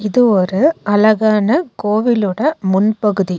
இது ஒரு அழகான கோவிலோட முன்பகுதி.